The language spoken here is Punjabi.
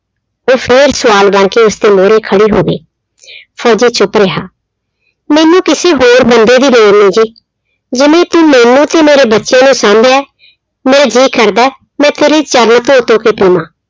ਉਹ ਫਿਰ ਸਵਾਲ ਬਣਕੇ ਉਸਦੇ ਮੂਹਰੇ ਖੜੀ ਹੋ ਗਈ ਫ਼ੋਜ਼ੀ ਚੁੱਪ ਰਿਹਾ ਮੈਨੂੰ ਕਿਸੇ ਹੋਰ ਬੰਦੇ ਦੀ ਲੋੜ ਨਹੀਂ ਜੀ, ਜਿਵੇਂ ਤੂੰ ਮੈਨੂੰ ਤੇ ਮੇਰੇ ਬੱਚੇ ਨੂੰ ਸਾਂਭਿਆ ਹੈ ਮੇਰਾ ਜੀਅ ਕਰਦਾ ਹੈ ਮੈਂ ਤੇਰੇ ਚਰਣ ਧੋ ਧੋ ਕੇ ਪੀਵਾਂ।